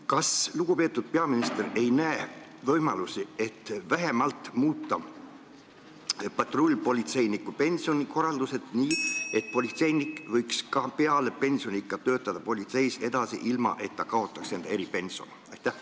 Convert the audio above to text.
Kas lugupeetud peaminister ei näe võimalusi, et muuta vähemalt patrullpolitseiniku pensionikorraldust nii, et politseinik võiks ka peale pensioniiga töötada politseis edasi, ilma et ta kaotaks eripensioni?